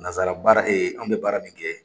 Nazsara baara an bɛ baara min kɛ